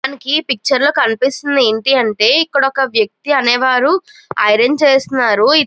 మనకి ఈ పిక్చర్ లో కనిపిస్తుంది ఏంటి అంటే ఇక్కడొక వ్యక్తి అనేవారు ఐరన్ చేస్తున్నారు.